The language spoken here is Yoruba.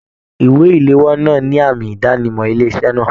Ìwé iléwọ́ náà ní àmì idanimọ ilé iṣẹ náà.